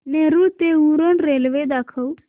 नेरूळ ते उरण रेल्वे दाखव